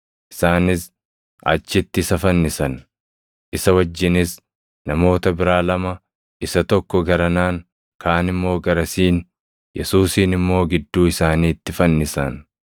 Isaanis achitti isa fannisan; isa wajjinis namoota biraa lama, isa tokko garanaan, kaan immoo garasiin, Yesuusin immoo gidduu isaaniitti fannisan.